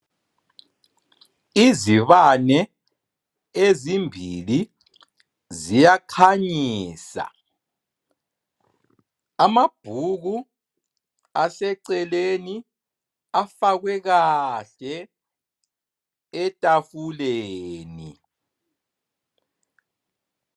Izibane, ezimbili ziyakhanyisa. Amabhuku aseceleni, afakwe kahle etafuleni.